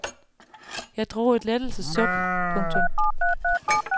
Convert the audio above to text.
Jeg drog et lettelses suk. punktum